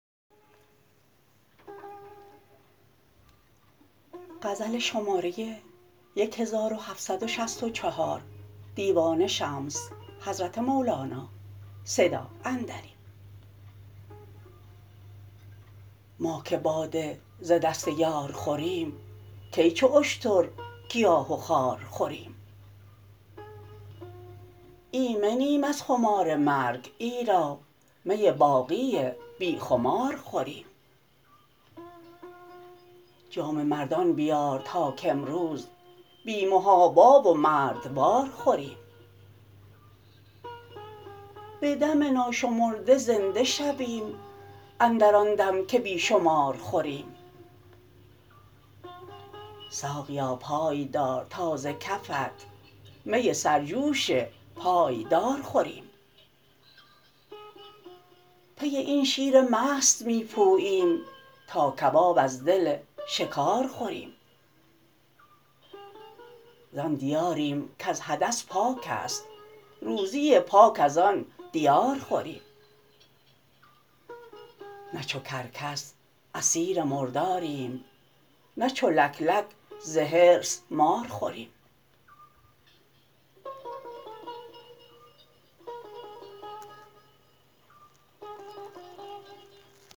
ما که باده ز دست یار خوریم کی چو اشتر گیاه و خار خوریم ایمنیم از خمار مرگ ایرا می باقی بی خمار خوریم جام مردان بیار تا کامروز بی محابا و مردوار خوریم به دم ناشمرده زنده شویم اندر آن دم که بی شمار خوریم ساقیا پای دار تا ز کفت می سرجوش پایدار خوریم پی این شیر مست می پوییم تا کباب از دل شکار خوریم زان دیاریم کز حدث پاک است روزی پاک از آن دیار خوریم نه چو کرکس اسیر مرداریم نه چو لک لک ز حرص مار خوریم